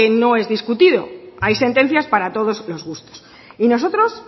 no es discutido hay sentencias para todos los gustos y nosotros